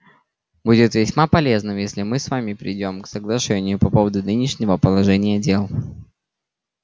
будет весьма полезным если мы с вами придём к соглашению по поводу нынешнего положения дел